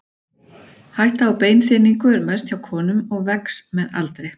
Hætta á beinþynningu er mest hjá konum og vex með aldri.